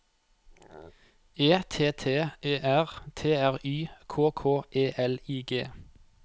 E T T E R T R Y K K E L I G